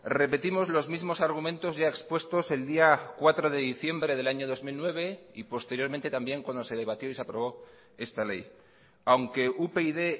repetimos los mismos argumentos ya expuestos el día cuatro de diciembre del año dos mil nueve y posteriormente también cuando se debatió y se aprobó esta ley aunque upyd